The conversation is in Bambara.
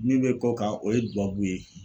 Min bɛ k'o kan o ye dubabu ye.